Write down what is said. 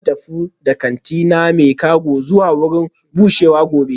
Zan tafi da kantina na cago zuwa wurin bushewa gobe